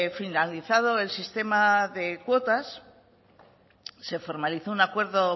finalizado el sistema de cuotas se formalizó un acuerdo